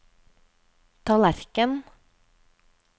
tallerken